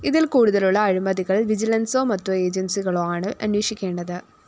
ഇതില്‍ കൂടുതലുള്ള അഴിമതികള്‍ വിജിലന്‍സോ മറ്റു ഏജന്‍സികളോ ആണ് അന്വഷിക്കേണ്ടത്